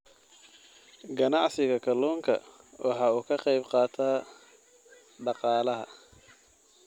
Ganacsiga Kaluunka waxa uu ka qayb qaataa dhaqaalaha.